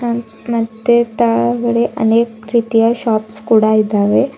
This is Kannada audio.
ಮತ್ತೆ ತೆಳಗಡೆ ಅನೇಕ ರೀತಿಯ ಶಾಪ್ಸ್ ಕೂಡ ಇದ್ದಾವೆ.